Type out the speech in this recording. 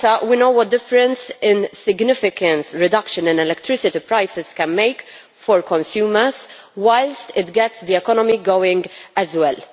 In Malta we know what a difference a significant reduction in electricity prices can make for consumers, whilst it gets the economy going as well.